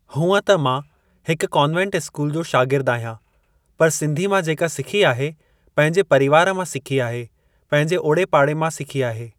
हूअं त मां हिक कान्वेंट स्कूल जो शागिर्दु आहियां पर सिंधी मां जेका सिखी आहे पंहिंजे परिवार मां सिखी आहे पंहिंजे ओड़े पाड़े मां सिखी आहे।